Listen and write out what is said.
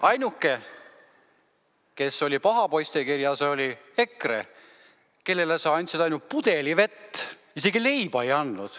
Ainuke, kes oli pahade poiste kirjas, oli EKRE, kellele sa andsid ainult pudeli vett, isegi leiba ei andnud.